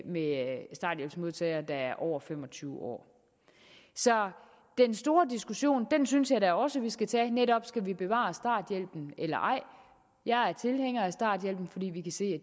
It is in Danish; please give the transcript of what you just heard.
med starthjælpsmodtagere der er over fem og tyve år så den store diskussion synes jeg også vi skal tage netop skal vi bevare starthjælpen eller ej jeg er tilhænger af starthjælp fordi vi kan se